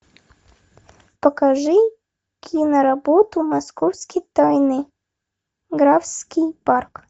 покажи киноработу московские тайны графский парк